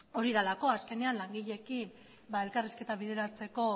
hori delako azkenean langileekin elkarrizketa bideratzeko